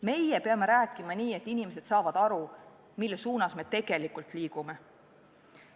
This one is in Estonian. Meie peame rääkima nii, et inimesed saavad aru, mis suunas me tegelikult liigume.